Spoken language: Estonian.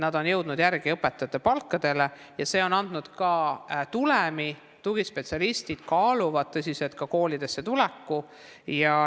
Need on jõudnud järele õpetajate palkadele ja see on andnud ka tulemi, tugispetsialistid kaaluvad tõsiselt ka koolidesse tulekut.